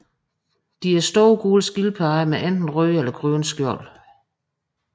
De er store gule skildpadder med enten røde eller grønne skjold